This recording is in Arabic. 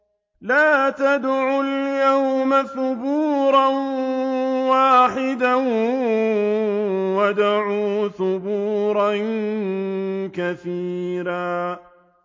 لَّا تَدْعُوا الْيَوْمَ ثُبُورًا وَاحِدًا وَادْعُوا ثُبُورًا كَثِيرًا